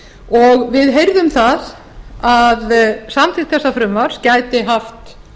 og við heyrðum það að samþykkt þessa frumvarp gæti haft